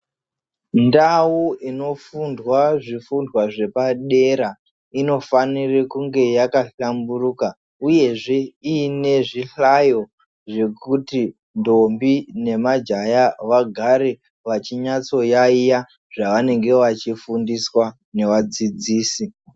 Ndau inofundwa zvifundwa zvepadera inofanire kunge yakahlamburuka uyezve iine zvihlayo zvekuti ndombi nemajaya vagare vachinyatsoyaiya zvavanenge vachifundiswa nevadzidzisi.